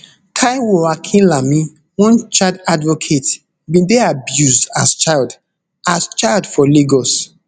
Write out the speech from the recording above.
taiwo akinlami one child advocate bin dey abused as child as child for lagos